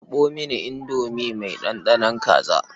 Karɓo mini indomi mai ɗanɗanon kaza.